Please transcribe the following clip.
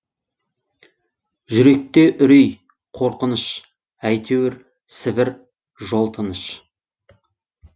жүректе үрей қорқыныш әйтеуір сібір жол тыныш